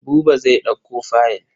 Buba zai ɗauko fayil.